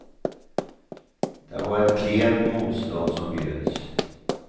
Det var ett klent motstånd som bjöds.